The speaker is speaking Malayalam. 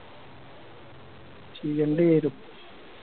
ചെയ്യണ്ടി വരും